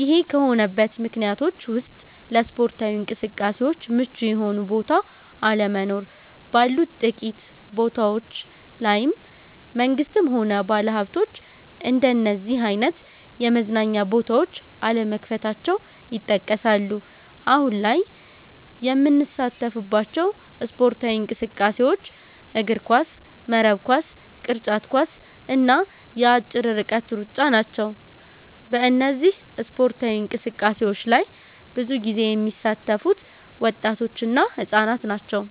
ይሄ ከሆነበት ምክንያቶች ውስጥ ለስፓርታዊ እንቅስቃሴዎች ምቹ የሆኑ ቦታዎች አለመኖር፣ ባሉት ጥቂት ቦታዎች ላይም መንግስትም ሆነ ባለሀብቶች እንደነዚህ አይነት የመዝናኛ ቦታዎች አለመክፈታቸው ይጠቀሳሉ። አሁን ላይ የምንሳተፍባቸው ስፖርታዊ እንቅስቃሴዎች እግርኳስ፣ መረብ ኳስ፣ ቅርጫት ኳስ እና የአጭር ርቀት ሩጫ ናቸው። በእነዚህ ስፓርታዊ እንቅስቃሴዎች ላይ ብዙ ጊዜ የሚሳተፉት ወጣቶች እና ህፃናት ናቸው።